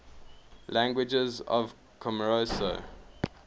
languages of comoros